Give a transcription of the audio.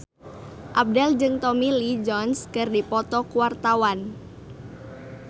Abdel jeung Tommy Lee Jones keur dipoto ku wartawan